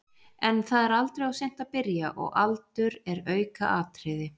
En það er aldrei of seint að byrja og aldur er aukaatriði.